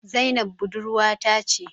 Zainab budurwa ta ce